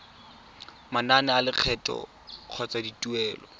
manane a lekgetho kgotsa dituelo